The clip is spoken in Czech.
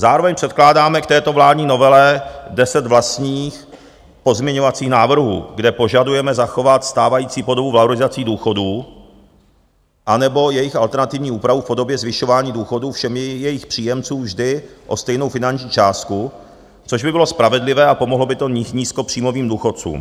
Zároveň předkládáme k této vládní novele deset vlastních pozměňovacích návrhů, kde požadujeme zachovat stávající podobu valorizací důchodů anebo jejich alternativní úpravu v podobě zvyšování důchodů všem jejich příjemcům vždy o stejnou finanční částku, což by bylo spravedlivé a pomohlo by to nízkopříjmovým důchodcům.